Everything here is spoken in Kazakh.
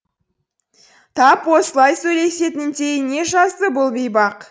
тап осылай сөйлесетіндей не жазды бұл бейбақ